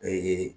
Ee